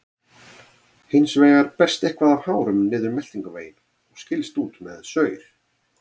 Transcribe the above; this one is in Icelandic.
Hins vegar berst eitthvað af hárum niður meltingarveginn og skilst út með saur.